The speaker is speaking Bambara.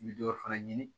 I bɛ dɔ fana ɲini